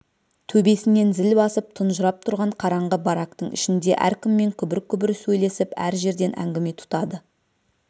төбесінен зіл басып тұнжырап тұрған қараңғы барактың ішінде әркіммен күбір-күбір сөйлесіп әр жерден әңгіме тұтады